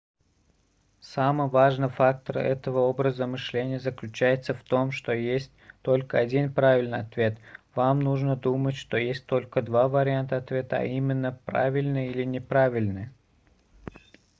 самый важный фактор этого образа мышления заключается в том что есть только один правильный ответ вам нужно думать что есть только два варианта ответа а именно правильный или неправильный